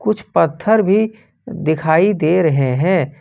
कुछ पत्थर भी दिखाई दे रहे हैं।